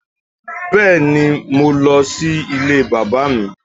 Bẹ́ẹ̀ni mo lọ sí Ilé bàbá mi